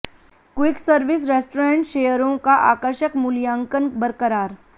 quick service restaurant शेयरों का आकर्षक मूल्यांकन बरकरार